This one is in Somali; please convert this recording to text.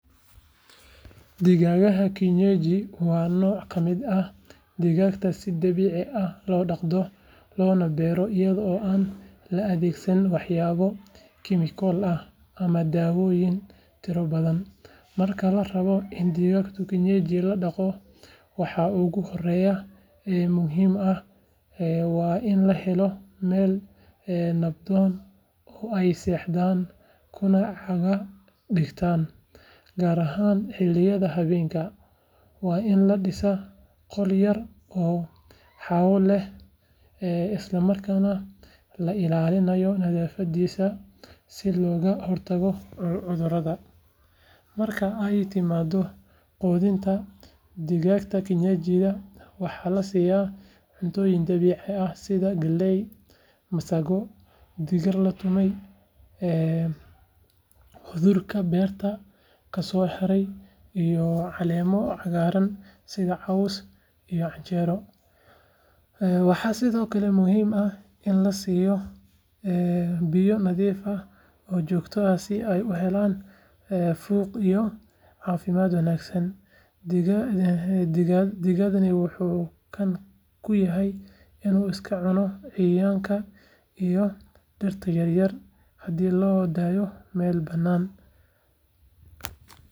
Digaagga kienyeji waa nooc ka mid ah digaagga si dabiici ah loo dhaqdo loona beero iyadoo aan la adeegsan waxyaabo kiimiko ah ama daawooyin tiro badan. Marka la rabo in digaag kienyeji la dhaqo, waxa ugu horreeya ee muhiimka ah waa in la helo meel nabdoon oo ay seexdaan kuna caga dhigtan, gaar ahaan xilliyada habeenkii. Waa in la dhisaa qol yar oo hawo leh isla markaana la ilaaliyo nadaafadda si looga hortago cudurrada. Marka ay timaaddo quudinta, digaagga kienyeji waxaa la siiyaa cuntooyin dabiici ah sida galley, masago, digir la tumay, hadhuudhka beerta ka soo haray, iyo caleemo cagaaran sida caws iyo canjeero. Waxaa sidoo kale muhiim ah in la siiyo biyo nadiif ah oo joogto ah si ay u helaan fuuq iyo caafimaad wanaagsan. Digaaggani wuxuu caan ku yahay inuu iska cuno cayayaanka iyo dhirta yaryar haddii loo daayo meel bannaan.